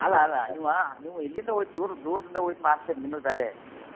ಅಲ್ಲಲ್ಲ ನೀವ್ ಇಲ್ಲಿಂದ ಒಯ್ಡ್ ದೂರ್ ದೂರದಿಂದ ಒಯ್ಡ್ ಮಾರ್ತೀರಿ ನಿಮ್ಮದ್ ಬ್ಯಾರೆ.